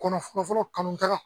Kɔnɔ fɔlɔ fɔlɔ kanu ka